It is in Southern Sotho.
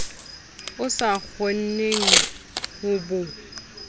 o sa kgoneng ho bo